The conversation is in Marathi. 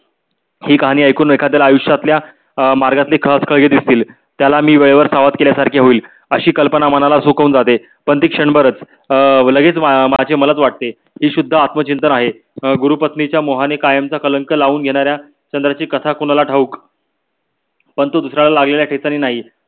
अशी कल्पना मनाला झुकवून जाते. पण ती क्षण भरच अं लगेच माझे मलाच वाटे. की शुद्ध आत्मचिंतन आहे. अं गुरुपत्नी च्या मोहणे कायमच कलंक लाऊन घेण्याऱ्या चंद्रची कथा कोणाला ठाऊक पण तो दुसऱ्याला लागलेल्या ठेचणे नाही.